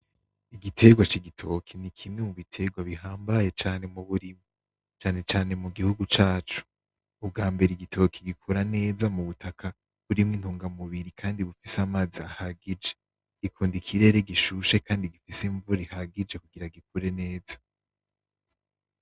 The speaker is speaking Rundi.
Igiterwa c'igitoke ni kimwe mu biterwa bihambaye cane mu burimyi cane cane mu bihugu cacu, ubwambere igitoke gikura neza mu butaka burimwo intungamubiri kandi bufise amazi ahagije, gikunda ikirere gishushe kandi gifise imvura ihagije kugira gikure neza.